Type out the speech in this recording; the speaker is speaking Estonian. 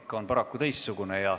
Praktika on paraku teistsugune.